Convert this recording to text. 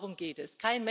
Nur darum geht es.